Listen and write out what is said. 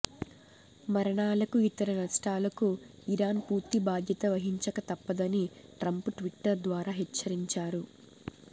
మరణాలకు ఇతర నష్టాలకు ఇరాన్ పూర్తి బాధ్యత వహించక తప్పదని ట్రంప్ ట్విట్టర్ ద్వారా హెచ్చరించారు